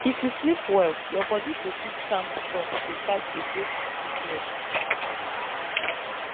if you sleep well your bodi go fit stand strong to fight against sickness